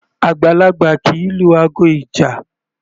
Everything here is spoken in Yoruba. Àgbàlagbà kì í lu aago ìjà.